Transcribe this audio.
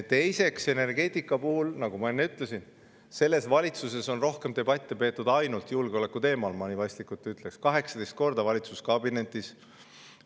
Teiseks, nagu ma enne ütlesin, selles valitsuses on energeetikast rohkem debatte peetud ainult julgeolekuteemal, ma nii vaistlikult ütleks: 18 korda valitsuskabinetis.